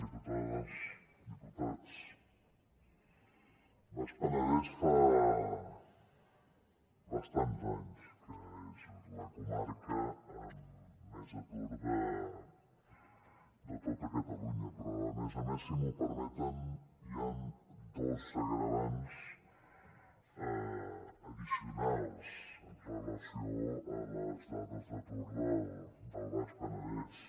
diputades diputats el baix penedès fa bastants anys que és la comarca amb més atur de tota catalunya però a més a més si m’ho permeten hi han dos agreujants addicionals amb relació a les dades d’atur del baix penedès